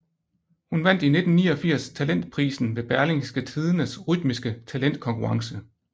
Hun vandt i 1989 talentprisen ved Berlingske Tidendes Rytmiske talentkonkurrence